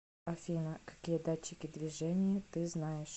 афина какие датчики движения ты знаешь